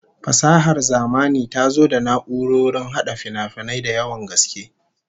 Fasahar zamani ta zo da na'urrorin hada finafinai da yawan gaske